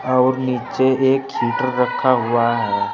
और नीचे एक हीटर रखा हुआ है।